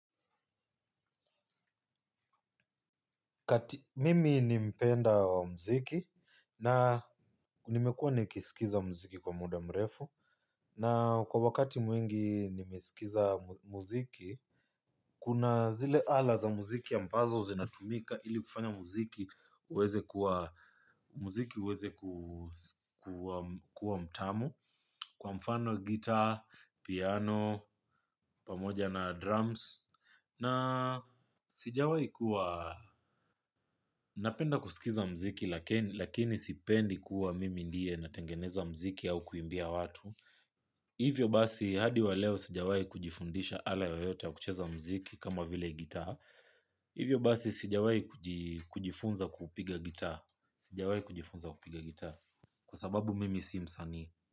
Mimi ni mpenda wa mziki na nimekuwa nikisikiza mziki kwa muda mrefu na kwa wakati mwingi nimesikiza mziki kuna zile ala za muziki ya ambazo zinatumika ili kufanya muziki uweze kuwa mtamu kwa mfano gita, piano, pamoja na drums. Na sijawai kuwa napenda kusikiza mziki. Lakini sipendi kuwa mimi ndiye natengeneza mziki au kuimbia watu. Hivyo basi hadi wa leo sijawai kujifundisha ala yoyote ya kucheza mziki kama vile gita. Hivyo basi sijawai kujifunza kupiga gita. Sijawai kujifunza kupiga gita. Kwa sababu mimi simsani.